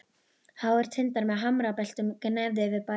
Háir tindar með hamrabeltum gnæfðu yfir bænum.